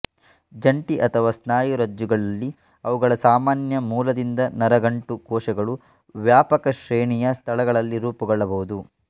ಜಂಟಿ ಅಥವಾ ಸ್ನಾಯುರಜ್ಜುಗಳಲ್ಲಿ ಅವುಗಳ ಸಾಮಾನ್ಯ ಮೂಲದಿಂದ ನರಗಂಟು ಕೋಶಗಳು ವ್ಯಾಪಕ ಶ್ರೇಣಿಯ ಸ್ಥಳಗಳಲ್ಲಿ ರೂಪುಗೊಳ್ಳಬಹುದು